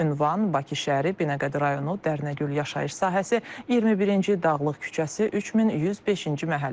Ünvan Bakı şəhəri, Binəqədi rayonu, Dərnəgül yaşayış sahəsi, 21-ci Dağlıq küçəsi, 3105-ci məhəllə.